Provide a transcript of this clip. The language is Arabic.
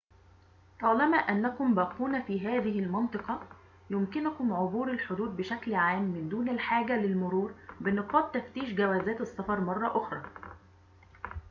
طالما أنكم باقون في هذه المنطقة يمكنكم عبور الحدود بشكل عام من دون الحاجة للمرور بنقاط تفتيش جوزات السفر مرة أخرى